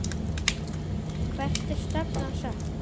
Hvert er stefnan sett?